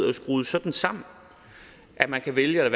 er skruet sådan sammen at man kan vælge at